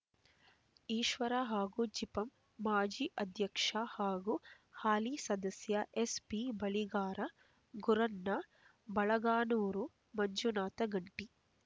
ಈಶ್ವರ ಹಾಗೂ ಜಿಪಂ ಮಾಜಿ ಅಧ್ಯಕ್ಷ ಹಾಗೂ ಹಾಲಿ ಸದಸ್ಯ ಎಸ್ಪಿ ಬಳಿಗಾರ ಗುರಣ್ಣ ಬಳಗಾನೂರ ಮಂಜುನಾಥ ಗಂಟಿ